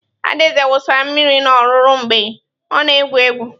Adaeze wụsara mmiri na rụgu mgbe ọ na-egwu egwu.